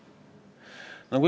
Euroopa riikide praktikad.